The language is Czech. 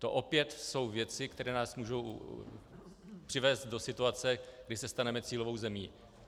To opět jsou věci, které nás můžou přivést do situace, kdy se staneme cílovou zemí.